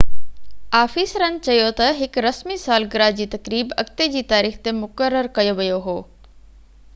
آفيسرن چيو ته هڪ رسمي سالگره جي تقريب اڳتي جي تاريخ تي مقرر ڪيو ويو هو